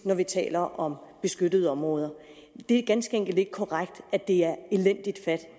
taler om beskyttede områder det er ganske enkelt ikke korrekt at det er elendigt fat